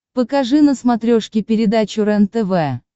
покажи на смотрешке передачу рентв